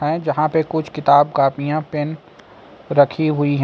जहां पे कुछ किताब कापियां पेन रखी हुई हैं।